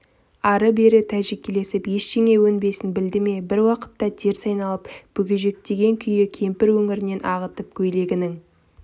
ары-бері тәжікелесіп ештеңе өнбесін білді ме бір уақытта теріс айналып бүгежектеген күйі кемпір өңірін ағытып көйлегінің